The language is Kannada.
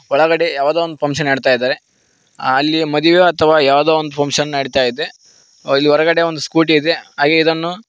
ಒಳಗಡೆ ಯಾವುದೋ ಒಂದು ಫಂಕ್ಷನ್ ನಡೀತಾಇದೆ ಅಲ್ಲಿ ಮದುವೆ ಅಥವಾ ಯಾವುದೋ ಒಂದು ಪಂಕ್ಷನ್ ನಡಿತಾ ಐತೆ ಇಲ್ಲಿ ಹೊರಗಡೆ ಒಂದು ಸ್ಕೂಟಿ ಇದೆ ಹಾಗೆ ಇದನ್ನು --